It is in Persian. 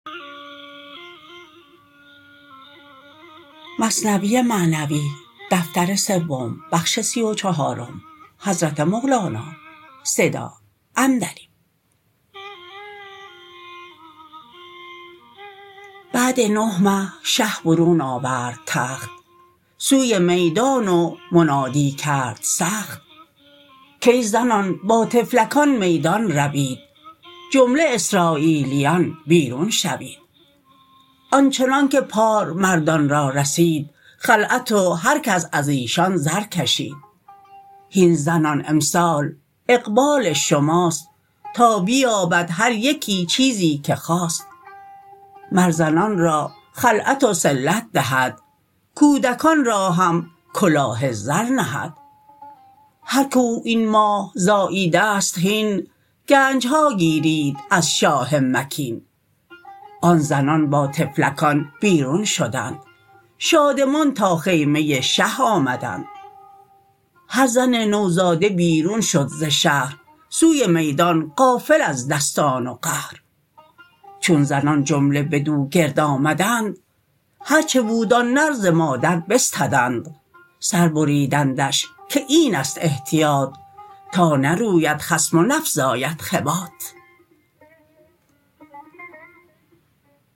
بعد نه مه شه برون آورد تخت سوی میدان و منادی کرد سخت کای زنان با طفلکان میدان روید جمله اسراییلیان بیرون شوید آنچنانک پار مردان را رسید خلعت و هر کس ازیشان زر کشید هین زنان امسال اقبال شماست تا بیابد هر یکی چیزی که خواست مر زنان را خلعت و صلت دهد کودکان را هم کلاه زر نهد هر که او این ماه زاییدست هین گنجها گیرید از شاه مکین آن زنان با طفلکان بیرون شدند شادمان تا خیمه شه آمدند هر زن نوزاده بیرون شد ز شهر سوی میدان غافل از دستان و قهر چون زنان جمله بدو گرد آمدند هرچه بود آن نر ز مادر بستدند سر بریدندش که اینست احتیاط تا نروید خصم و نفزاید خباط